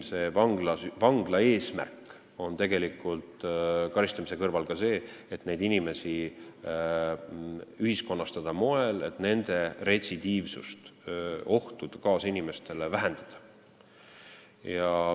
Vangla eesmärk on karistamise kõrval ka see, et neid inimesi ühiskonnastada sel moel, et nende retsidiivsust ja nende põhjustatud ohtu kaasinimestele vähendada.